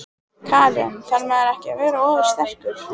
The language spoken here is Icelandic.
Karen: Þarf maður ekki að vera ofursterkur?